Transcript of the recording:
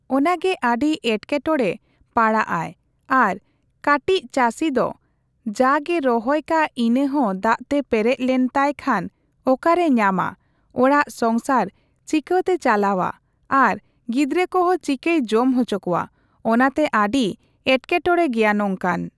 ᱚᱱᱟᱜᱮ ᱟᱹᱰᱤ ᱮᱴᱠᱮᱴᱚᱲᱮ ᱯᱟᱲᱟᱜ ᱟᱭ ᱟᱨ ᱠᱟᱹᱴᱤᱡ ᱪᱟᱹᱥᱤ ᱫᱚ ᱡᱟᱜᱮ ᱨᱚᱦᱚᱭ ᱠᱟᱜ ᱤᱱᱟᱹ ᱦᱚᱸ ᱫᱟᱜᱛᱮ ᱯᱮᱨᱮᱪ ᱞᱮᱱᱛᱟᱭ ᱠᱷᱟᱱ ᱚᱠᱟᱨᱮ ᱧᱟᱢᱟ ᱚᱲᱟᱜ ᱥᱚᱝᱥᱟᱨ ᱪᱤᱠᱹᱟᱛᱮ ᱪᱟᱞᱟᱣᱟ ᱟᱨ ᱜᱤᱫᱽᱨᱟᱹ ᱠᱚᱸᱦᱚ ᱪᱤᱠᱟᱭ ᱡᱚᱢ ᱦᱚᱪᱚ ᱠᱚᱣᱟ ᱾ ᱚᱱᱟᱛᱮ ᱟᱰᱤ ᱮᱴᱠᱮᱴᱚᱲᱮ ᱜᱮᱭᱟ ᱱᱚᱝᱠᱟᱱ᱾